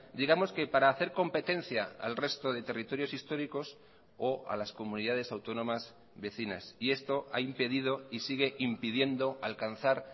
digamos que para hacer competencia al resto de territorios históricos o a las comunidades autónomas vecinas y esto ha impedido y sigue impidiendo alcanzar